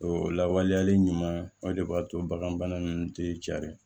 O lawaleyali ɲuman o de b'a to bagan bana ninnu tɛ caya